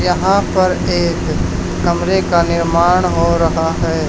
यहां पर एक कमरे का निर्माण हो रहा है।